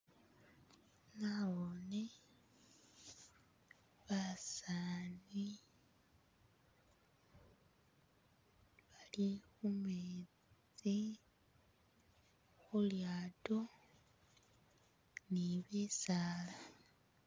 Nabone basani bali khumetsi, khulyato, ni'bisala